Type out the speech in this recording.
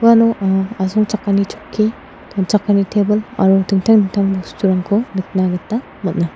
anga asongchakani chokki donchakani tebil aro dingtang dingtang bosturangko nikna gita man·a.